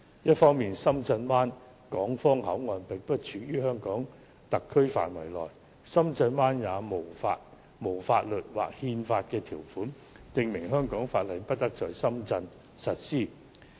一方面，深圳灣港方口岸並不處於香港特區範圍內，深圳也沒有法律或憲法條款，訂明香港法例不得在深圳實施。